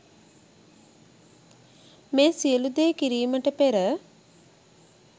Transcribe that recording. මේ සියලූ දේ කිරීමට පෙර